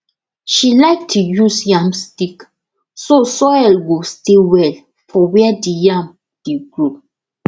she like to use yam stick so soil go stay well for where di yam dey grow